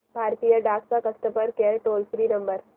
भारतीय डाक चा customer care toll free number